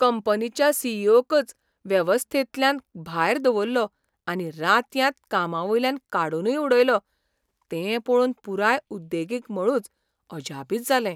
कंपनीच्या C. E. O. कच वेवस्थेंतल्यान भायर दवल्लो आनी रातयांत कामावयल्यान काडूनय उडयलो तें पळोवन पुराय उद्देगीक मळूच अजापीत जालें.